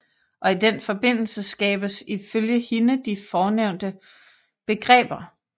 Og i den forbindelse skabes ifølge hende de fornævnte begreber